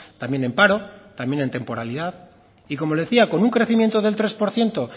también en paro también en temporalidad y como le decía con un crecimiento del tres por ciento